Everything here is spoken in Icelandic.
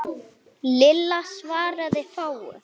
Lilla svaraði fáu.